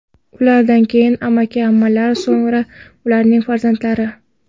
Ulardan keyin amaki-ammalar, so‘ngra ularning farzandlari.